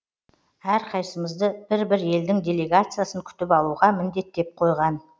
әрқайсымызды бір бір елдің делегациясын күтіп алуға міндеттеп қойған